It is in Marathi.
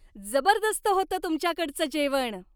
जबरदस्त होतं तुमच्याकडचं जेवण.